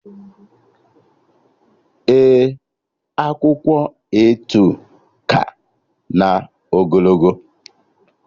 Ee, akwụkwọ A2 ka na ogologo